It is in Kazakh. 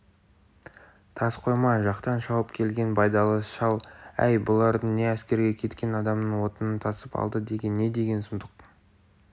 тас қойма жақтан шауып келген байдалы шал әй бұларың не әскерге кеткен адамның отынын тасып алды деген не деген сұмдық